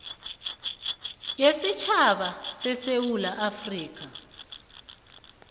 yesitjhaba sesewula afrika